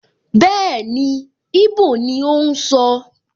Bẹ́ẹ̀ni, íbò ni ó ń sọ